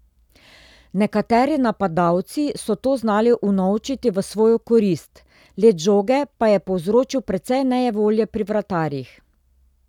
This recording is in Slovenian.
Nekateri napadalci so to znali unovčiti v svojo korist, let žoge pa je povzročil precej nejevolje pri vratarjih.